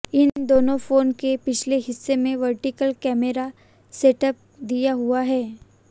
इन दोनों फोन के पिछले हिस्से में वर्टिकल कैमरा सेटअप दिया हुआ है